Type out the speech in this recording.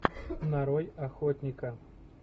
нарой охотника